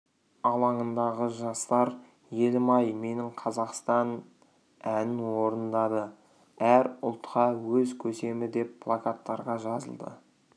алаңындағы жастар елім ай менің қазақстан әнін орындады әр ұлтқа өз көсемі деп плакаттарға жазылды